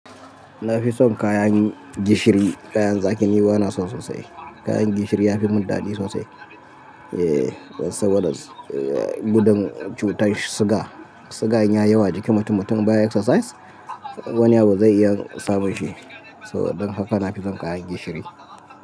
Na fi son kayan gishiri, kayan zaki ni ba na son sosai. Kayan gishiri ya fi mun daɗi sosai. Eh, saboda gudun cutar suga. Suga in yi yawa jikin mutum-mutum baya exercise, wani abu zai iya samun shi. So saboda haka na fi son kayan gishiri.